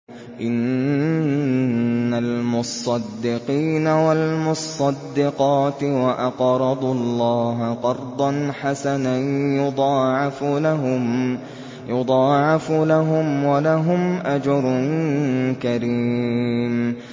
إِنَّ الْمُصَّدِّقِينَ وَالْمُصَّدِّقَاتِ وَأَقْرَضُوا اللَّهَ قَرْضًا حَسَنًا يُضَاعَفُ لَهُمْ وَلَهُمْ أَجْرٌ كَرِيمٌ